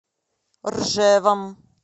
ржевом